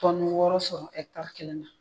wɔɔrɔ sɔrɔ kelen na